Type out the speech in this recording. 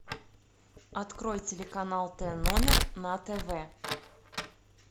открой телеканал т номер на тв